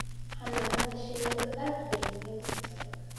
Xannaanada shinnidu aad bay muhiim u tahay